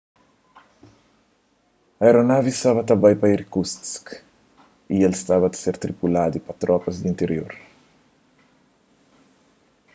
aeronavi staba ta bai pa irkutsk y el staba ta ser tripuladu pa tropas di intirior